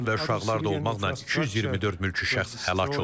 Qadın və uşaqlar da olmaqla 224 mülki şəxs həlak olub.